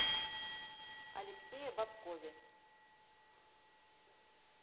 алексее бобкове